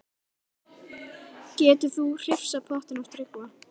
Getur þú hrifsað pottinn af Tryggva?